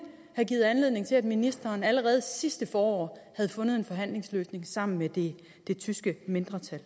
have givet anledning til at ministeren allerede sidste forår havde fundet en forhandlingsløsning sammen med det tyske mindretal